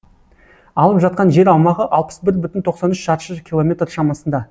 алып жатқан жер аумағы алпыс бір бүтін тоқсан үш шаршы километр шамасында